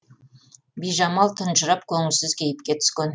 бижамал тұнжырап көңілсіз кейіпке түскен